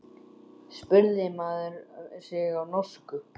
spurði maður sig á norsku.